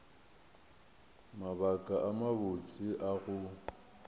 mabaka a mabotse a go